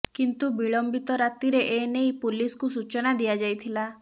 କିନ୍ତୁ ବିଳମ୍ବିତ ରାତିରେ ଏ ନେଇ ପୋଲିସକୁ ସୂଚନା ଦିଆଯାଇଥିଲା